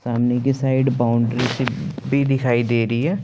सामने कि side boundary भी दिखाई दे रही है।